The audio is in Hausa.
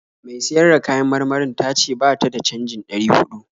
Mai siyar da kayan marmarin ta ce ba ta da canjin ɗari huɗu.